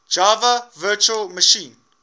java virtual machine